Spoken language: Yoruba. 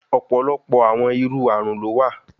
Ọpọlọpọ awọn iru arun lo wa